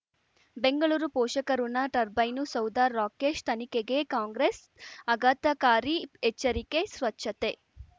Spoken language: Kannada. ಬೆಂಗಳೂರು ಪೋಷಕಋಣ ಟರ್ಬೈನು ಸೌಧ ರಾಕೇಶ್ ತನಿಖೆಗೆ ಕಾಂಗ್ರೆಸ್ ಆಘಾತಕಾರಿ ಎಚ್ಚರಿಕೆ ಸ್ವಚ್ಛತೆ